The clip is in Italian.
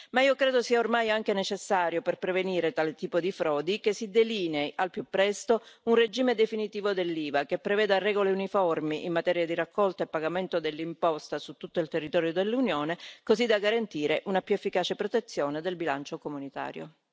Ma io credo sia ormai anche necessario per prevenire tale tipo di frodi che si delinei al più presto un regime definitivo dell'IVA, che preveda regole uniformi in materia di raccolta e pagamento dell'imposta su tutto il territorio dell'Unione, così da garantire una più efficace protezione del bilancio comunitario.